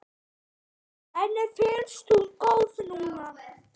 Henni finnst hún góð núna.